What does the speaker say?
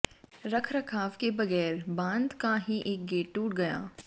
रखरखाव के बगैर बांध का ही एक गेट टूट गया